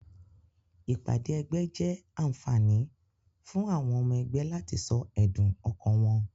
Ìpàdé egbé jé ànfàní fún àwon omo egbé láti so èdùn okàn won